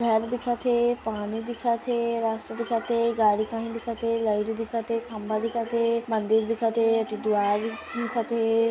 घर दिखत हे पानी दिखत हे रास्ता दिखत हे गाड़ी दिखत हे लाइट दिखत हे खंबा दिखत हे मंदिर दिखत हे टिटवा दिखत हे।